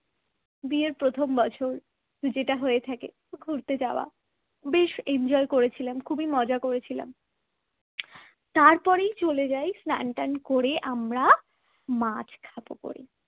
বিয়ের প্রথম বছর যেটা হয়ে থাকে ঘুরতে যাওয়া বেশ enjoy করেছিলেন খুবই মজা করেছিলাম । তারপরেই চলে যাই স্নান টান করে আমরা মাছ খাব বলে